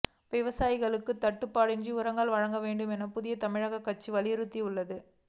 விவசாயிகளுக்குத் தட்டுப்பாடின்றி உரங்கள் வழங்க வேண்டும் என புதிய தமிழகம் கட்சி வலியுறுத்தியுள்ளது